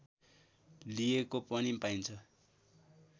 लिएको पनि पाइन्छ